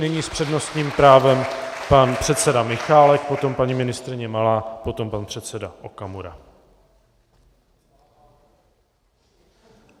Nyní s přednostním právem pan předseda Michálek, potom paní ministryně Malá, potom pan předseda Okamura.